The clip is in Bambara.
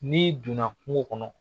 N'i donna kungo kɔnɔ